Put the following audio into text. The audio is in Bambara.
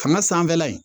Fanga sanfɛla in